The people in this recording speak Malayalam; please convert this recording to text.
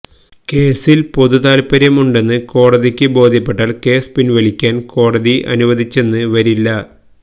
കേസില് പൊതുതാല്പര്യം ഉണ്ടെന്ന് കോടതിക്ക് ബോധ്യപ്പെട്ടാല് കേസ് പിന്വലിക്കാന് കോടതി അനുവദിച്ചെന്ന് വരില്ല